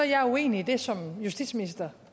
jeg er uenig i det som justitsminister